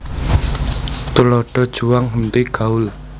Tuladha juang henti gaul